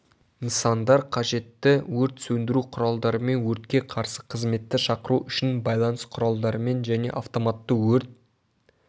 нысандар қажетті өрт сөндіру құралдарымен өртке қарсы қызметті шақыру үшін байланыс құралдарымен және автоматты өрт